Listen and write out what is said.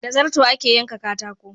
Da zarto ake yanka katako